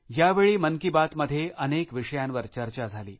यावेळी मन की बात मध्ये अनेक विषयांवर चर्चा झाली